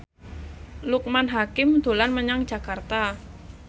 Loekman Hakim dolan menyang Jakarta